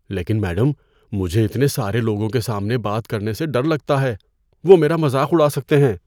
لیکن میڈم، مجھے اتنے سارے لوگوں کے سامنے بات کرنے سے ڈر لگتا ہے۔ وہ میرا مذاق اڑا سکتے ہیں۔